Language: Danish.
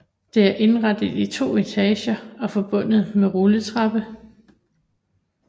Det er indrettet i 2 etager og forbundet med rulletrappe